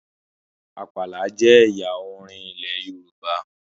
Àpàlà jẹ ẹyà orin ilẹ Yorùbá